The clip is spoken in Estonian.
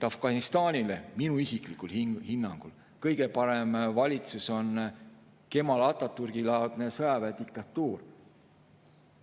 Afganistanile oleks minu isiklikul hinnangul kõige parem valitsus Kemal Atatürki laadne sõjaväediktatuur.